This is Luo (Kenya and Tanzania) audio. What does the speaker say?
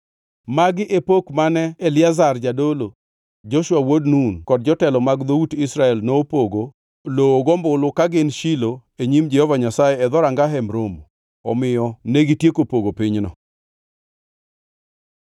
Magi e pok mane Eliazar jadolo, Joshua wuod Nun kod jotelo mag dhout Israel nopogo lowo gombulu ka gin Shilo e nyim Jehova Nyasaye e dhoranga Hemb Romo. Omiyo negitieko pogo pinyno.